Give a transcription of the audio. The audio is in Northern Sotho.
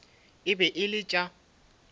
e be e le tša